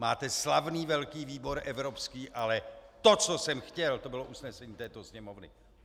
Máte slavný velký výbor evropský, ale to, co jsem chtěl, to bylo usnesení této Sněmovny.